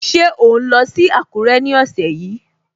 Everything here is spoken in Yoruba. Ṣé ò ń lọ sí Àkúrẹ́ ní ọ̀sẹ̀ yìí?